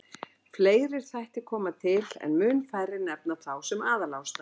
Fleiri þættir koma til en mun færri nefna þá sem aðalástæðu.